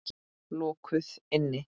Lokuð inni.